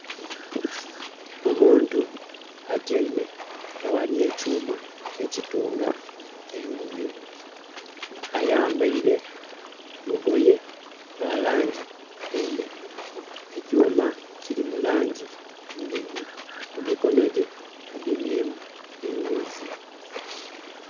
Omuntu atyeime aghali ekyuma ekitunga engoye ayambeire olugoye lwa langi endheru ekyuma kili mu langi ndheru, mu mikono gye agemyemu eghuzi.